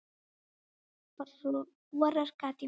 Borar gat í mig.